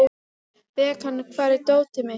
Bekan, hvar er dótið mitt?